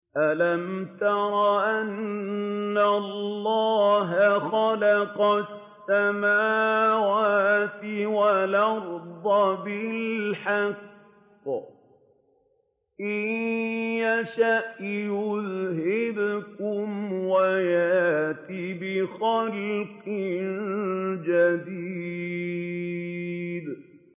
أَلَمْ تَرَ أَنَّ اللَّهَ خَلَقَ السَّمَاوَاتِ وَالْأَرْضَ بِالْحَقِّ ۚ إِن يَشَأْ يُذْهِبْكُمْ وَيَأْتِ بِخَلْقٍ جَدِيدٍ